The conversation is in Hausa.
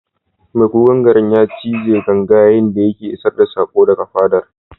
Mai kukan garin ya cije ganga yayin da yake isar da sako daga fadar.